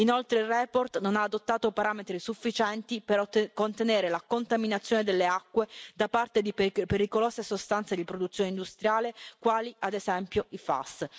Inoltre, la relazione non ha adottato parametri sufficienti per contenere la contaminazione delle acque da parte di pericolose sostanze di origine industriale, quali ad esempio le PFAS.